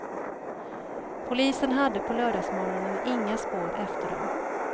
Polisen hade på lördagsmorgonen inga spår efter dem.